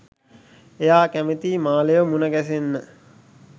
එයා කැමතියි මාලේව මුණ ගැහෙන්න